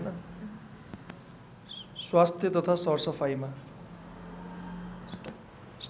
स्वास्थ्य तथा सरसफाइमा